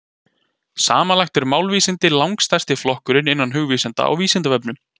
Samanlagt eru málvísindin langstærsti flokkurinn innan hugvísinda á Vísindavefnum.